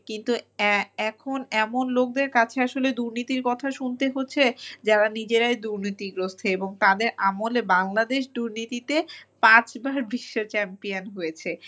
কিন্তু এ~ এখন এমন লোকদের কাছে আসলে দুর্নীতির কথা শুনতে হচ্ছে যারা নিজেরাই দুর্নীতিগ্রস্থ এবং তাদের আমলে Bangladesh দুর্নীতিতে পাঁচবার বিশ্ব champion হয়েছে।